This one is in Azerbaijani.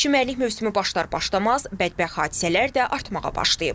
Çimərlik mövsümü başlar-başlamaz bədbəxt hadisələr də artmağa başlayıb.